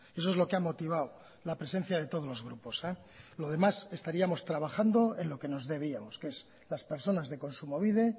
eso es lo que ha motivado la presencia de todos los grupos lo demás estaríamos trabajando en lo que nos debíamos que es las personas de kontsumobide